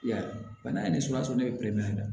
I y'a ye bana ye ne be peremɛ la